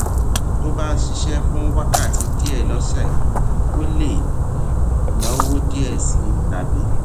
tó o bá ń ṣiṣé fún wákàtí díè lósè o lè náwó díè sí i tàbí